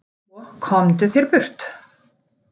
Svo, komdu þér burt.